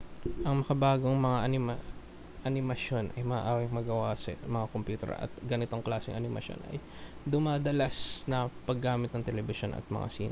ang makabagong mga animasyon ay maaaring magawa sa mga kompyuter at ang ganitong klaseng animasyon ay dumadalas na ang paggamit sa telebisyon at mga sine